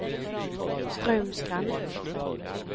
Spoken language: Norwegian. Straumsgrend